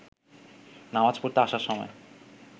নামাজ পড়তে আসার সময়